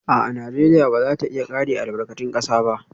A'a, Najeriya ba za ta iya kare albarkatun kasa ba